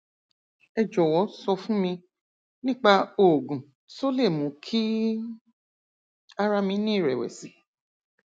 ẹ jòwó sọ fún mi nípa oògùn tó lè mú kí ara mi ní ìrẹwẹsì